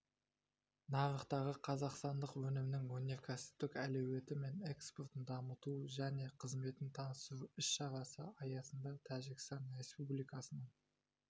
нарықтағы қазақстандық өнімнің өнеркәсіптік әлеуеті мен экспортын дамыту және қызметін таныстыру іс-шарасы аясында тәжікстан республикасының